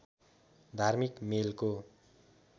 धार्मिक मेलको